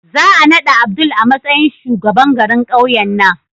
Za a naɗa Abdul a matsayin shugaban garin ƙauyen nan.